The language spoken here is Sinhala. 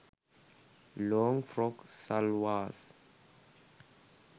long frock salwars